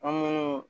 An munnu